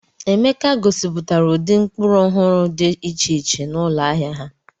Emeka gosipụtara ụdị mkpụrụ ọhụrụ dị iche iche n'ụlọ ahịa ha.